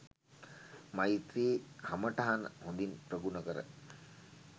මෛත්‍රී කමටහන හොඳින් ප්‍රගුණ කර